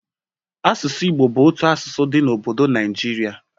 Asụsụ Igbo bụ otu asụsụ dị n'obodo Naịijirị